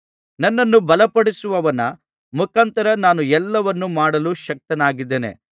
ನನ್ನನ್ನು ಬಲಪಡಿಸುವವನ ಮುಖಾಂತರ ನಾನು ಎಲ್ಲವನ್ನೂ ಮಾಡಲು ಶಕ್ತನಾಗಿದ್ದೇನೆ